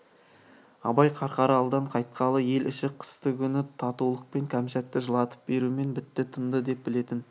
абай қарқаралыдан қайтқалы ел іші қыстыгүні татулықпен кәмшатты жылатып берумен бітті тынды деп білетін